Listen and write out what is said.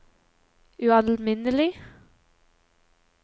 ualminnelig